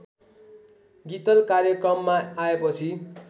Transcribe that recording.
गीतल कार्यक्रममा आएपछि